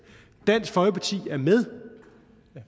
dansk folkeparti er med